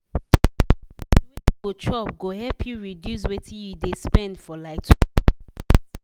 to plan food wey you go chop go help you reduce wetin you dey spend for like 20%.